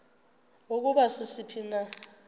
ukuba sisiphi na